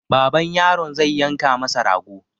Baban yaron zai yanka masa rago.